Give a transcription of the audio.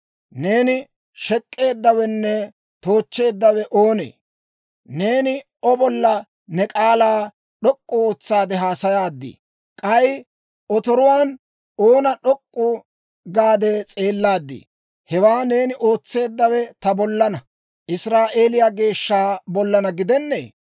Neeni shek'k'eeddawenne toochcheeddawe oonee? Neeni O bollan ne k'aalaa d'ok'k'u ootsaade haasayaadii? K'ay otoruwaan oona d'ok'k'u gaade s'eellaadii? Hewaa neeni ootseeddawe ta bollana, Israa'eeliyaa Geeshsha bollana gidennee!